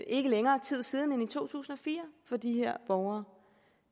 ikke længere tid siden end i to tusind og fire for de her borgere